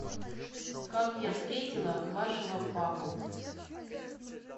как я встретила вашего папу